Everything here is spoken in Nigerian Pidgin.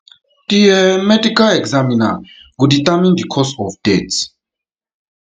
di um medical examiner go determine di cause of death death